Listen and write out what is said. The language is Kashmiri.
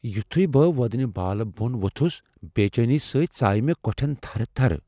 یُتھُیہ بہٕ وودنہِ بالہٕ بون ووتُھس ، بے٘ چینی سۭتۍ ژایہ مے٘ كوٹھین تھرٕ تھرٕ ۔